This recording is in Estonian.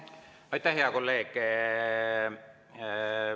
Aitäh, hea kolleeg!